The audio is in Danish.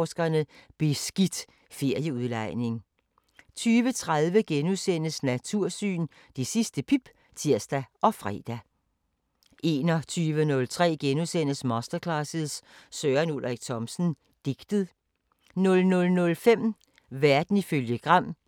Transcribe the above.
06:05: 55 minutter (G) (tir-fre) 13:05: Aflyttet (G) 14:05: Små Hverdagsproblemer (G) 21:05: Efter Otte, fortsat (tir-fre) 22:05: Efter Otte, fortsat (tir-fre)